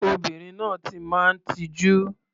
Obìnrin náà ti máa ń tijú.